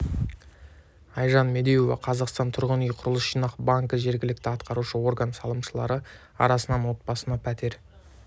айжан медеуова қазақстан тұрғын үй құрылыс жинақ банкі жергілікті атқарушы орган салымшылары арасынан отбасына пәтер